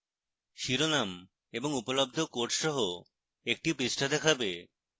শিরোনাম এবং উপলব্ধ courses সহ একটি পৃষ্ঠা দেখাবে